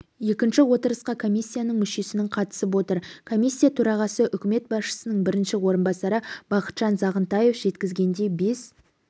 екінші отырысқа комиссияның мүшесінің қатысып отыр комиссия төрағасы үкімет басшысының бірінші орынбасары бақытжан сағынтаев жеткізгендей бес